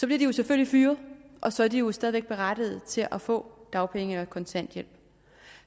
de jo selvfølgelig fyret og så er de jo stadig væk berettiget til at få dagpenge eller kontanthjælp